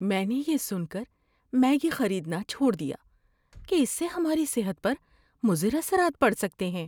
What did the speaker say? میں نے یہ سن کر میگی خریدنا چھوڑ دیا کہ اس سے ہماری صحت پر مضر اثرات پڑ سکتے ہیں۔